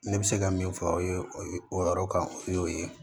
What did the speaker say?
Ne bɛ se ka min fɔ o ye o ye o yɔrɔ kan o y'o ye